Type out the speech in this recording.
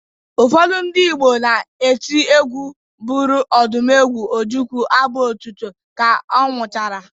Ụfọdụ ndị Igbo na-eti egwu bụrụ Odumegwu Ojukwu abụ otito ka ọ nwụchara